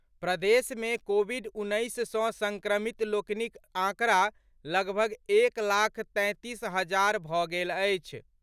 प्रदेश मे कोविड उन्नैस सँ सङ्क्रमित लोकनिक आंकड़ा, लगभग एक लाख तैंतीस हजार भऽ गेल अछि।